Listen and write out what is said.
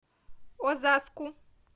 озаску